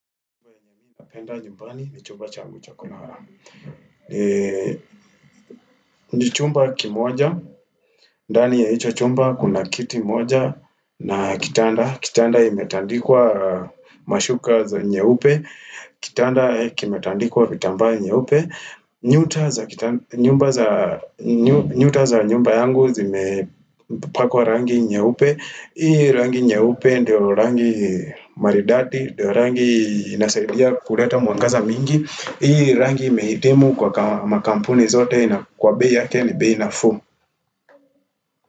Ni chumba kimoja, dani ya hicho chumba kuna kiti moja na kitanda, kitanda kimetandikwa mashuka za nyeupe, kitanda kimetandikwa vitambaa nyeupe, nyuta za kita nyuta za nyumba yangu zimepakwa rangi nyeupe, hii rangi nyeupe ndio rangi maridadi ndio rangi inasaidia kuleta mwangaza mingi hii rangi imehitimu kwa makampuni zote na kwa bei yake ni bei nafuu.